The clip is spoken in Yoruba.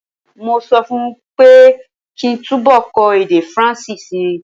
Mo sọ fún ọ pé kí túnbọ̀ kọ́ èdè Faransé si.